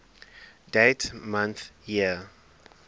dd mm yyyy